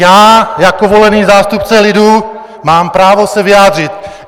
Já jako volený zástupce lidu mám právo se vyjádřit.